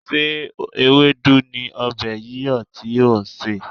Ṣé ewédú ni ọbẹ̀ yíyọ̀ tí ò ń sè?